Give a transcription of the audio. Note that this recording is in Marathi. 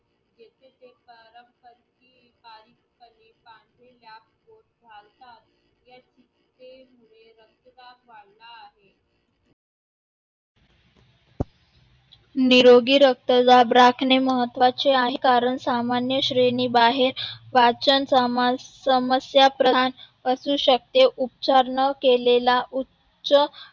निरोगी रक्तदाब राखणे महत्वाचे आहे. कारण सामान्य श्रेणी बाहेर पाचन समस्या प्रधान असू शकते. उपचार न केलेला उच्च